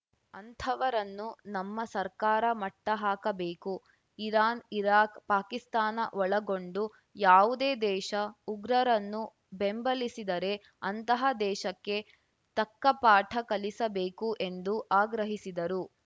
ಅಂಥವರನ್ನು ನಮ್ಮ ಸರ್ಕಾರ ಮಟ್ಟಹಾಕಬೇಕು ಇರಾನ್‌ ಇರಾಕ್‌ ಪಾಕಿಸ್ತಾನ ಒಳಗೊಂಡು ಯಾವುದೇ ದೇಶ ಉಗ್ರರರನ್ನು ಬೆಂಬಲಿಸಿದರೆ ಅಂತಹ ದೇಶಕ್ಕೆ ತಕ್ಕಪಾಠ ಕಲಿಸಬೇಕು ಎಂದು ಆಗ್ರಹಿಸಿದರು